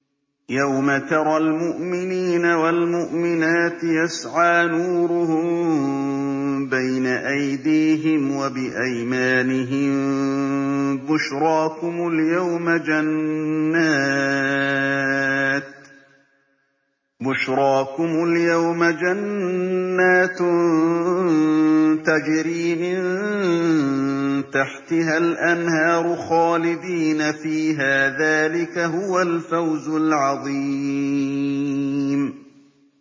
يَوْمَ تَرَى الْمُؤْمِنِينَ وَالْمُؤْمِنَاتِ يَسْعَىٰ نُورُهُم بَيْنَ أَيْدِيهِمْ وَبِأَيْمَانِهِم بُشْرَاكُمُ الْيَوْمَ جَنَّاتٌ تَجْرِي مِن تَحْتِهَا الْأَنْهَارُ خَالِدِينَ فِيهَا ۚ ذَٰلِكَ هُوَ الْفَوْزُ الْعَظِيمُ